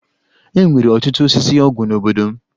E nwere ọtụtụ osisi ọgwụ n'obodo m.